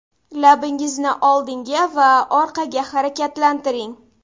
Labingizni oldinga va orqaga harakatlantiring.